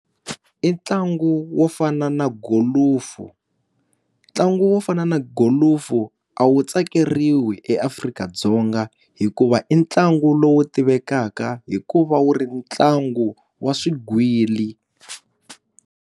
I ntlangu wo fana na golofu ntlangu wo fana na golufu a wu tsakeriwi eAfrika-Dzonga hikuva i ntlangu lowu tivekaka hikuva wu ri ntlangu wa swigwili.